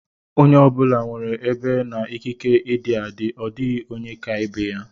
Onye ọ bụla nwere ebe na ikike ịdị adị; ọ dịghị onye ka ibe ya.